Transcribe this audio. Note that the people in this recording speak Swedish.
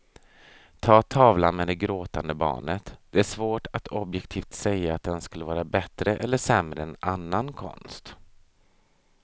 Ta tavlan med det gråtande barnet, det är svårt att objektivt säga att den skulle vara bättre eller sämre än annan konst.